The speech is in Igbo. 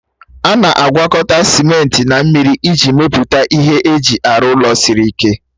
A na-agwọkọta simenti na mmiri iji mepụta ihe eji arụ ụlọ siri ike